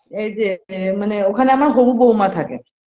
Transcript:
এইযে যে মানে ওখানে আমার হবু বৌমা থাকে